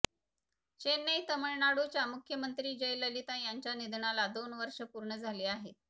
चेन्नई तामिळनाडूच्या मुख्यमंत्री जयललिता यांच्या निधनाला दोन वर्ष पूर्ण झाली आहेत